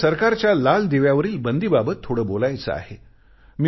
मला सरकारच्या लाल दिव्यावरील बंदीबाबत थोडे बोलायचे आहे